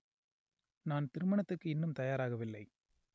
நான் திருமணத்துக்கு இன்னும் தயாராகவில்லை